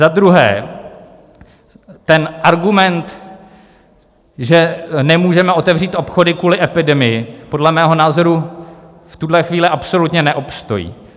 Za druhé ten argument, že nemůžeme otevřít obchody kvůli epidemii, podle mého názoru v tuhle chvíli absolutně neobstojí.